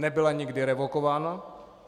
Nebyla nikdy revokována.